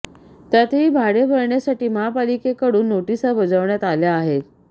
त्यातही भाडे भरण्यासाठी महापालिकेकडून नोटीसा बजावण्यात आल्या आहेत